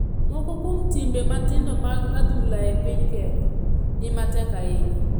Moko kuom timbe matindo mag adhula e piny kenya ni matek ahinya